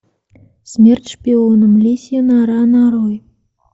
смерть шпионам лисья нора нарой